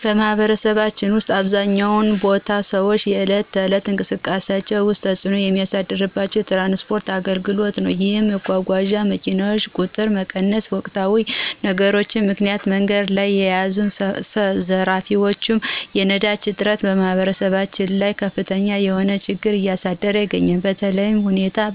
በማህበረሰባችን ውስጥ በአብዛኛው ቦታ በሰዎች የዕለት ተዕለት እንቅስቃሴ ውስጥ ተፅዕኖ የሚያሳድረው የትራንስፖርት አገልግሎት ነዉ። ይህም የመጓጓዣ መኪናዎች ቁጥር መቀነስ፣ በወቅታዊ ችግሮች ምክንያት መንገድ ላይ ያሉ ዘራፊዎች፣ የነዳጅ እጥረት በማህበረሰባችን ላይ ከፍተኛ የሆነ ችግር እያደረሰ ይገኛል።